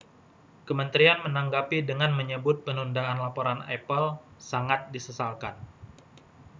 kementerian menanggapi dengan menyebut penundaan laporan apple sangat disesalkan